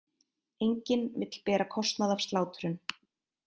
Enginn vill bera kostnað af slátrun